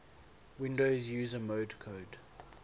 windows user mode code